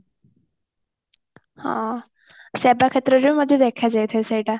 ହଁ ସବୁ କ୍ଷେତ୍ରରେ ମଧ୍ୟ ଦେଖାଯାଇ ଥାଏ ସେଇଟା